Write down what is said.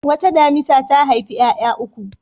Wata damisa ta haifi ƴaƴa uku.